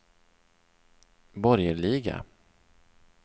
borgerliga